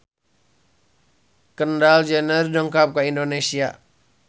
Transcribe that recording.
Kendall Jenner dongkap ka Indonesia